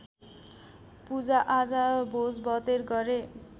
पूजाआजा भोजभतेर गरे